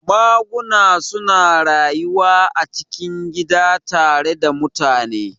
Maguna suna rayuwa a cikin gida tare da mutane